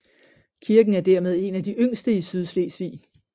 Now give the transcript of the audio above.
Kirken er dermed en af de yngste i Sydslesvig